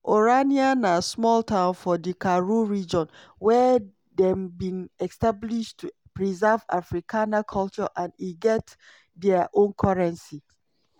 orania na small town for di karoo region wey dem bin establish to preserve afrikaner culture and e get dia own currency.